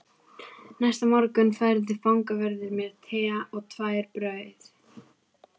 Næsta morgun færði fangavörður mér te og tvær brauð